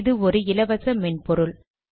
இது ஒரு இலவச மென்பொருள்